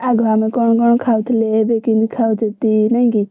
ଆଗ ଆମେ କଣ କଣ ଖାଉଥିଲେ ଏବେ କେମିତି ଖାଉଛନ୍ତି ନାଇକି!